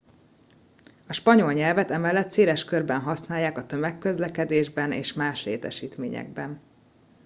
a spanyol nyelvet emellett széles körben használják a tömegközlekedésben és más létesítményekben